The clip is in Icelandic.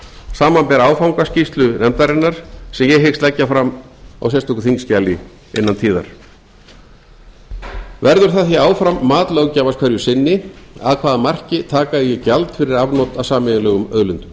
samanber áfangaskýrslu nefndarinnar sem ég hyggst leggja fram á sérstöku þingskjali innan tíðar verður það því áfram mat löggjafans hverju sinni að hvaða marki taka eigi gjald fyrir afnot af sameiginlegum auðlindum